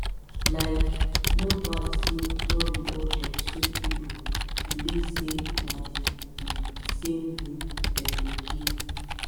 likee no bad say no be all dem sick pipu believe say na the the same way dem go heal